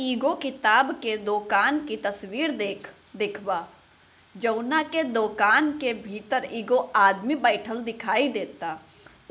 एगो किताब के दुकान के तस्वीर देख देखवा जउना के दूकान के भीतर एगो आदमी बैठएल दिखाई देएता उ --